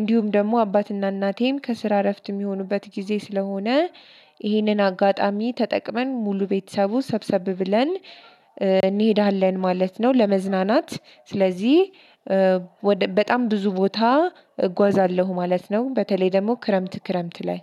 እንዲሁም ደግሞ አባትና እናቴም ከስራ እረፍት የሚሆኑበት ጊዜ ስለሆነ። ይህንን አጋጣሚ ተጠቅመን ሙሉ ቤተሰቡ ሰብሰብ ብለን እንሄዳለን ማለት ነው። ለመዝናናት ስለዚህ በጣም ብዙ ቦታ እጓዛለሁ ማለት ነው። በተለይ ደግሞ ክረምት ክረምት ላይ